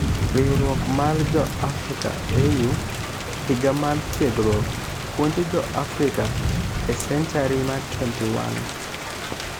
Riwruok mar jo Africa[AU]; Higa mar Tiegruok..puonjo jo africa e senchari mar 21.